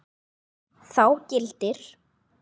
Þá gildir